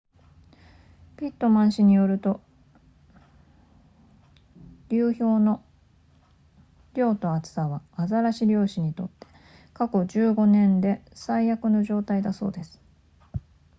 ピットマン氏によると流氷の量と厚さはアザラシ漁師にとって過去15年間で最悪の状態だそうです